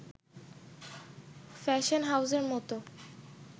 fashion হাউসের মতো